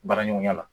Baara ɲɔgɔnya la